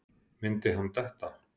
Myndi hann detta?